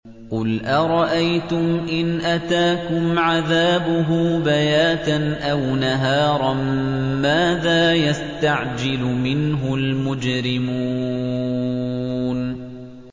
قُلْ أَرَأَيْتُمْ إِنْ أَتَاكُمْ عَذَابُهُ بَيَاتًا أَوْ نَهَارًا مَّاذَا يَسْتَعْجِلُ مِنْهُ الْمُجْرِمُونَ